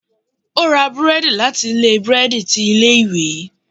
O ra búredì láti ilé burẹdi tí ilé ìwé